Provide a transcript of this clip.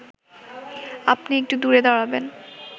আপনি একটু দূরে দাঁড়াবেন